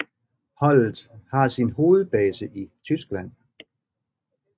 Holdet har sin hovedbase i Tyskland